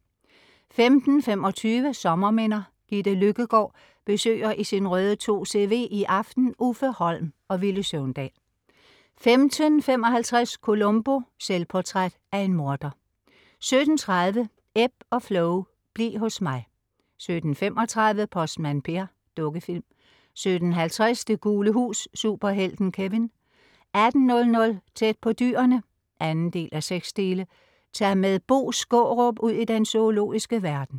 15.25 Sommerminder. Gitte Løkkegård besøger I sin røde 2CV i aften Uffe Holm og Villy Søvndal 15.55 Columbo: Selvportræt af en morder 17.30 Ebb og Flo. Bliv hos mig 17.35 Postmand Per. Dukkefilm 17.50 Det gule hus - Superhelten Kevin 18.00 Tæt på dyrene 2:6. Tag med Bo Skaarup ud i den zoologiske verden